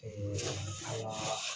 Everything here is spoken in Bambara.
an ka